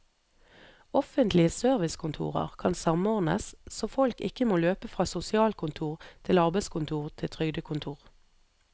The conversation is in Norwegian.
Offentlige servicekontorer kan samordnes, så folk ikke må løpe fra sosialkontor til arbeidskontor til trygdekontor.